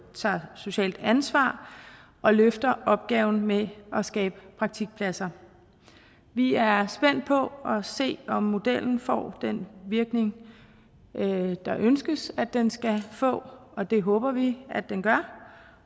tager socialt ansvar og løfter opgaven med at skabe praktikpladser vi er spændt på at se om modellen får den virkning der ønskes den skal få og det håber vi den gør